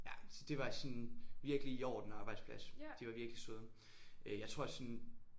Ja så det var sådan virkelig i orden arbejdsplads de var virkelig søde øh jeg tror sådan